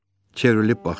Çevrilib baxdı.